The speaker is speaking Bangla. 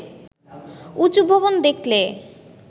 উঁচু ভবন দেখলে